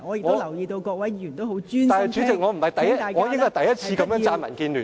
不過，代理主席，我應該是第一次如此稱讚民建聯。